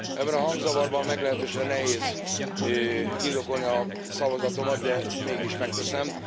Ebben a hangzavarban meglehetősen nehéz indokolni a szavazatomat, de mégis megteszem.